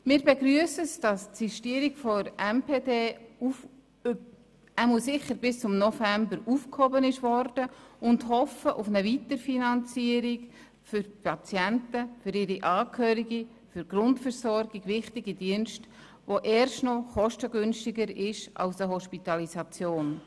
Wir begrüssen, dass die Sistierung der MPD sicher bis zum November aufgeschoben wurde und hoffen auf eine Weiterfinanzierung für die Patienten und ihre Angehörigen der für die Grundversorgung wichtige Dienste, die erst noch kostengünstiger sind als eine Hospitalisierung.